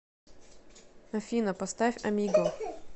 афина поставь а м и г о